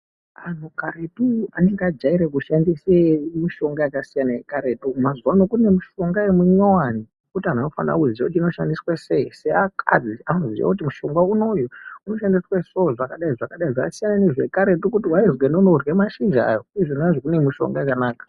Anhu karetu ainge ajaire kushandise mishonga yakasiyana yekaretu mazuwa ano kuno mushonga munyowani zvekuti anhu anofanire kuziya kuti inoshandiswa sei ,seakadzi anoziya kuti mushonga unouyu unoshandiswe so, zvakadai, zvakadai zvasiyana nezvekaretu kuti waizwi enda unorye mashizha ayo izvona kune mishonga yakanaka.